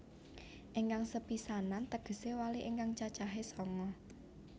Ingkang sepisanan tegesé wali ingkang cacahe sanga